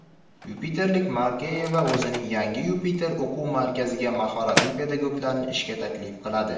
Yupiterlik Markayeva o‘zining yangi "Yupiter" o‘quv markaziga mahoratli pedagoglarni ishga taklif qiladi!.